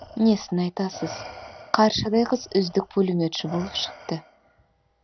несін айтасыз қаршадай қыз үздік пулеметші болып шықты